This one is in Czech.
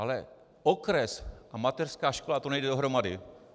Ale okres a mateřská škola, to nejde dohromady.